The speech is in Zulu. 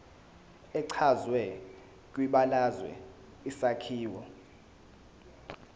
echazwe kwibalazwe isakhiwo